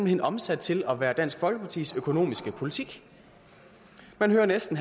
hen omsat til at være dansk folkepartis økonomiske politik man hører næsten